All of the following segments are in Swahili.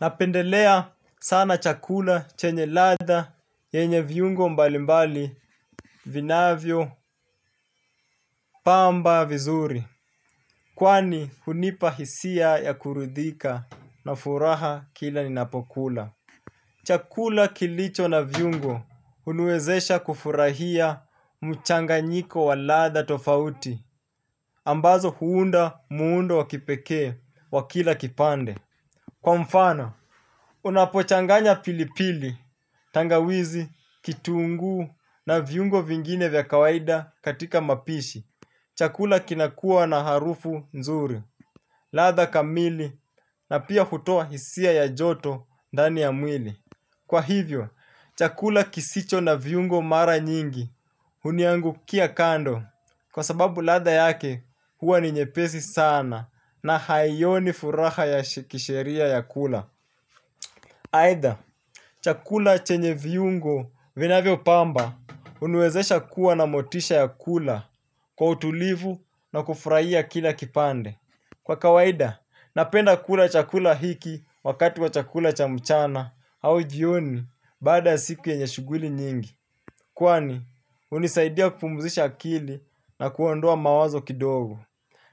Napendelea sana chakula chenye ladha yenye viungo mbali mbali vinavyo pamba vizuri. Kwani hunipa hisia ya kuridhika na furaha kila ninapokula. Chakula kilicho na viungo huniwezesha kufurahia mchanganyiko wa ladha tofauti. Ambazo huunda muundo wakipekee wa kila kipande. Kwa mfano, unapochanganya pilipili. Tangawizi kitunguu na viungo vingine vya kawaida katika mapishi chakula kinakuwa na harufu nzuri. Ladha kamili na pia hutoa hisia ya joto ndani ya mwili. Kwa hivyo, chakula kisicho na viungo mara nyingi huniangukia kando. Kwa sababu ladha yake huwa ni nyepesi sana na haioni furaha ya kisheria ya kula. Aidha chakula chenye viungo vinavyo pamba huniwezesha kuwa na motisha ya kula kwa utulivu na kufurahia kila kipande. Kwa kawaida, napenda kula chakula hiki wakati wa chakula cha mchana au jioni baada ya siku yenye shuguli nyingi. Kwani, hunisaidia kupumzisha akili na kuondoa mawazo kidogo.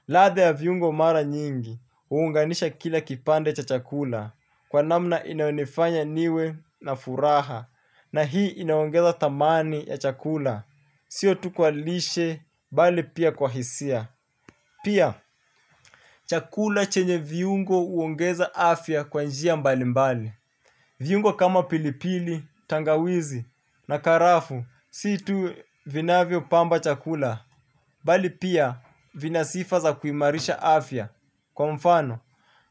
Ladha ya viungo mara nyingi, huunganisha kila kipande cha chakula. Kwa namna inayonifanya niwe na furaha. Na hii inaongeza dhamani ya chakula. Sio tu kwa lishe, bali pia kwa hisia. Pia, chakula chenye viungo huongeza afya kwa njia mbali mbali. Viungo kama pilipili, tangawizi na karafuu si tu vinavyo pamba chakula, bali pia vina sifa za kuimarisha afya kwa mfano.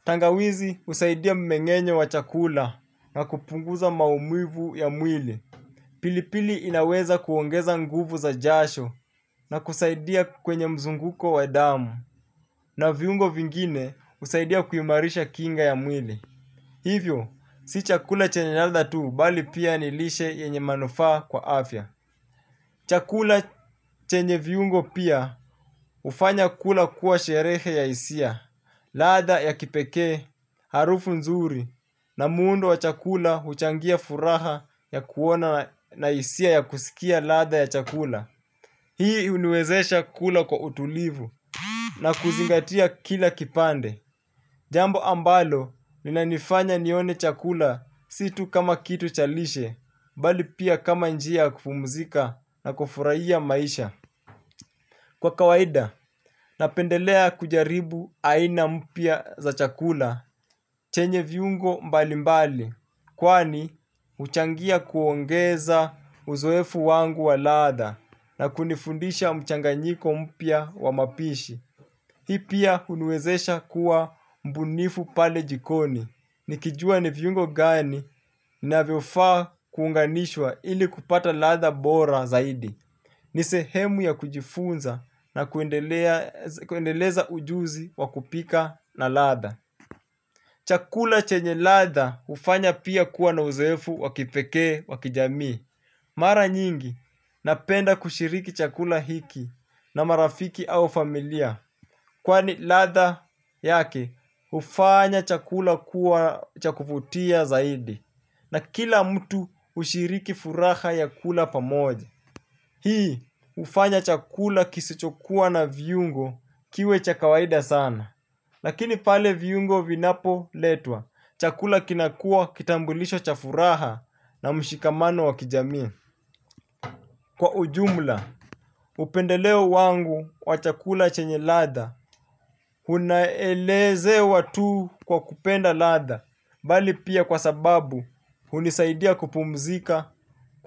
Tangawizi husaidia mmengenyo wa chakula na kupunguza maumivu ya mwili. Pilipili inaweza kuongeza nguvu za jasho na kusaidia kwenye mzunguko wa damu na viungo vingine husaidia kuimarisha kinga ya mwili. Hivyo, si chakula chenye ladha tu bali pia ni lishe yenye manufaa kwa afya. Chakula chenye viungo pia hufanya kula kuwa sherehe ya hisia, ladha ya kipekee, harufu nzuri na muundo wa chakula huchangia furaha ya kuona na hisia ya kusikia ladha ya chakula. Hii huniwezesha kula kwa utulivu na kuzingatia kila kipande. Jambo ambalo, inanifanya nione chakula si tu kama kitu cha lishe, mbali pia kama njia ya kupumzika na kufurahia maisha. Kwa kawaida, napendelea kujaribu aina mpya za chakula, chenye viungo mbali mbali. Kwani, huchangia kuongeza uzoefu wangu wa ladha na kunifundisha mchanganyiko mpya wa mapishi. Hii pia huniwezesha kuwa mbunifu pale jikoni. Nikijua ni viungo gani inavyofaa kuunganishwa ili kupata ladha bora zaidi. Ni sehemu ya kujifunza na kuendeleza ujuzi wa kupika na ladha. Chakula chenye ladha hufanya pia kuwa na uzoefu wa kipekee wa kijamii. Mara nyingi napenda kushiriki chakula hiki na marafiki au familia. Kwani ladha yake hufanya chakula kuwa cha kuvutia zaidi. Na kila mtu ushiriki furaha ya kula pamoja. Hii hufanya chakula kisichokuwa na viungo kiwe cha kawaida sana. Lakini pale viungo vinapoletwa, chakula kinakuwa kitambulisho cha furaha na mshikamano wa kijamii. Kwa ujumla, upendeleo wangu wa chakula chenye ladha, unaelezewa tu kwa kupenda ladha, bali pia kwa sababu hunisaidia kupumzika,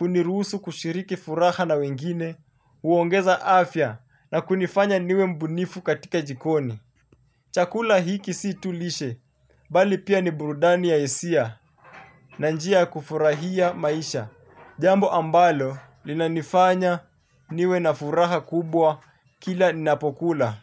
uniruhusu kushiriki furaha na wengine, huongeza afya na kunifanya niwe mbunifu katika jikoni. Chakula hiki si tu lishe, bali pia ni burudani ya hisia, na njia ya kufurahia maisha. Jambo ambalo linanifanya niwe na furaha kubwa kila ninapokula.